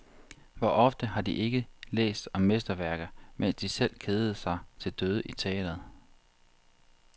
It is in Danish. Hvor ofte har de ikke læst om mesterværker, mens de selv kedede sig til døde i teatret.